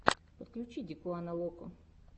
подключи дикуана локо